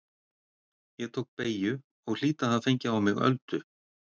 Ég tók beygju og hlýt að hafa fengið á mig öldu.